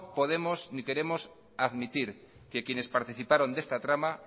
podemos ni queremos admitir que quienes participaron de esta trama